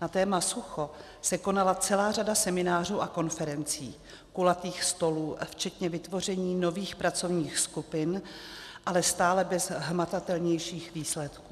Na téma sucho se konala celá řada seminářů a konferencí, kulatých stolů včetně vytvoření nových pracovních skupin, ale stále bez hmatatelnějších výsledků.